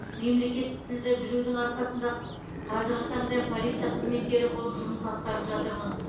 мемлекет тілді білудің арқасында қазіргі таңда полиция қызметкері болып жұмыс атқарып жатырмын